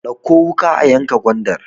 Dauƙo wuka a yanka gwandar!